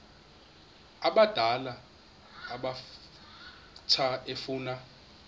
abadala abatsha efuna